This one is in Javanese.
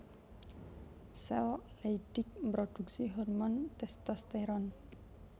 Sel Leydig mrodhuksi hormon testosteron